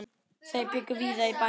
Þau bjuggu víða í bænum.